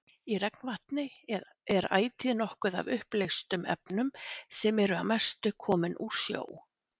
Í regnvatni er ætíð nokkuð af uppleystum efnum sem eru að mestu komin úr sjó.